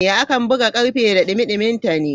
A kan buga karfe da dumi duminta ne.